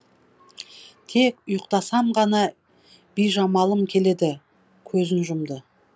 тек ұйықтасам ғана бижамалым келеді көзін жұмды